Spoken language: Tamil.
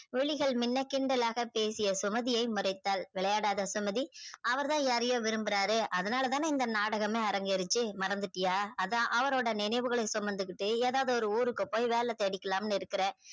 விழிகள் மின்ன கிண்டலாக பேசிய சுமதியை முறைத்தால் விளையாடாதே சுமதி அவர் தா யாரையோ விரும்புராரே அதுனால தான இந்த நாடகமே அரங்ககேருச்சி மறந்துட்டியா அதா அவரோட நினைவுகலை சுமந்துகிட்டு எதாவது ஒரு ஊருக்கு போய்கிட்டு வேலை தேடிகலானு இருக்குற